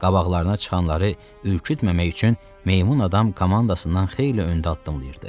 Qabaqlarına çıxanları ürkütməmək üçün meymun adam komandasından xeyli öndə addımlayırdı.